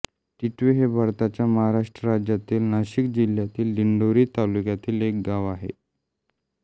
टिटवे हे भारताच्या महाराष्ट्र राज्यातील नाशिक जिल्ह्यातील दिंडोरी तालुक्यातील एक गाव आहे